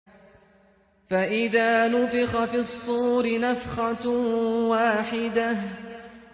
فَإِذَا نُفِخَ فِي الصُّورِ نَفْخَةٌ وَاحِدَةٌ